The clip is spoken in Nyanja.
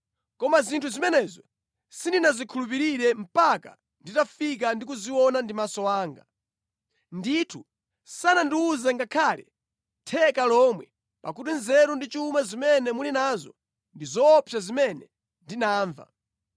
Koma sindinakhulupirire zinthu zimenezo mpaka nditafika ndi kuona ndi maso anga. Kunena zoona sanandiwuze ngakhale theka lomwe, pakuti nzeru ndi chuma zimene muli nazo zaposa zimene ndinamva.